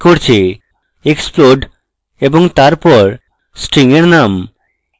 explode এবং তারপর string এর name